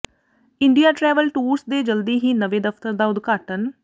India travel tours ਦੇ ਜਲਦੀ ਹੀ ਨਵੇਂ ਦਫਤਰ ਦਾ ਉਦਘਾਟਨ